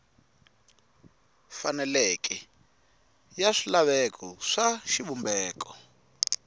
faneleke ya swilaveko swa xivumbeko